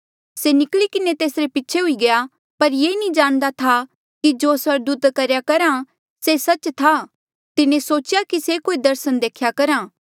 से निकली किन्हें तेसरे पीछे हुई गया पर ये नी जाणदा था कि जो कुछ स्वर्गदूत करेया करहा से सच्च था तिन्हें सोचेया कि से कोई दर्सन देख्या करहा